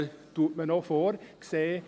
das ist so vorgesehen.